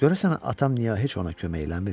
Görəsən atam niyə heç ona kömək eləmir?